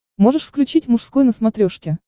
можешь включить мужской на смотрешке